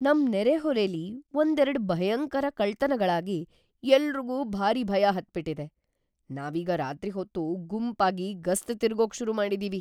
ನಮ್‌ ನೆರೆಹೊರೆಲಿ ಒಂದೆರ್ಡು ಭಯಂಕರ ಕಳ್ತನಗಳಾಗಿ ಎಲ್ರಿಗೂ ಭಾರಿ ಭಯ ಹತ್ಬಿಟಿದೆ. ನಾವೀಗ ರಾತ್ರಿ ಹೊತ್ತು ಗುಂಪಾಗಿ ಗಸ್ತ್‌ ತಿರ್ಗೋಕ್‌ ಶುರು ಮಾಡಿದೀವಿ.